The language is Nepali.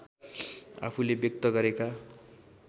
आफूले व्यक्त गरेका